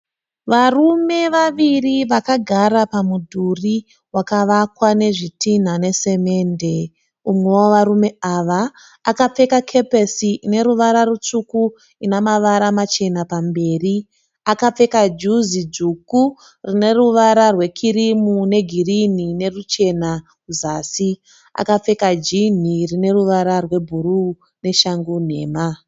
Varume vaviri vakagara pamudhuri wakavakwa nezvitinha nesimendi. Umwe wevarume ava akapfeka kepesi ine ruvara rutsvuku ine mavara machena pamberi. Akapfeka juzi dzvuku rine ruvara rwekirimu negirini neruchena kuzasi. Akapfeka jinhi rine ruvara rwe bhuruu neshangu nhema.